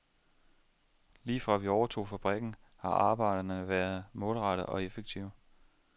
Lige fra vi overtog fabrikken, har arbejderne været målrettede og effektive.